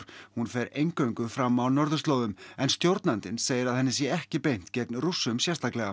hún fer eingöngu fram á norðurslóðum en stjórnandinn segir að henni sé ekki beint gegn Rússum sérstaklega